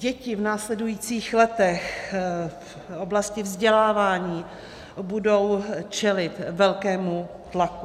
Děti v následujících letech v oblasti vzdělávání budou čelit velkému tlaku.